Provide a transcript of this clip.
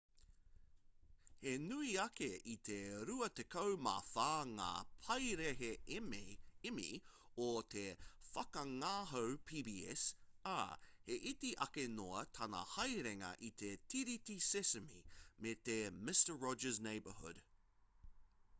he nui ake i te ruatekau mā whā ngā paraihe emmy o te whakangāhau pbs ā he iti ake noa tana haerenga i te tiriti sesame me te mister rogers' neighborhood